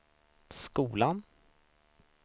skolan